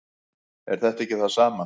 er þetta ekki það sama